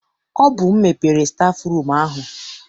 Ọ bụ m mepere stafụrum ahụ.